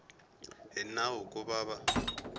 hi nawu ku va va